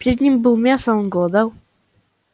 перед ним было мясо а он голодал